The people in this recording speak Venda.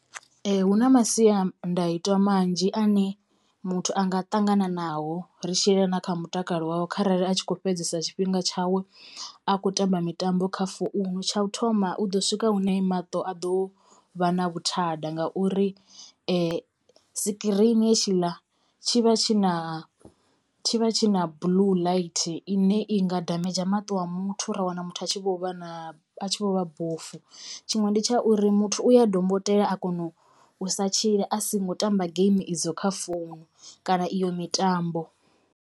Ee hu na masiandaitwa manzhi ane muthu anga ṱangananao ri tshi yelana na kha mutakalo wawe kharali a tshi kho fhedzesa tshifhinga tshawe a khou tamba mitambo kha founu. Tsha u thoma u ḓo swika hune maṱo a ḓo vha na vhuthada ngauri sikirini hetshiḽa tshi vha tshi vha tshi na blue light ine i nga damage maṱo a muthu ra wana muthu a tshi vho vha na a tshi vho vha bofu tshiṅwe ndi tsha uri muthu u ya dombotela a kona u sa tshila a singo tamba geimi idzo kha founu kana iyo mitambo.